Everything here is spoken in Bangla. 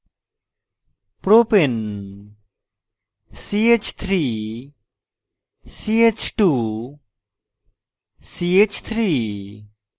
propane ch3ch2ch3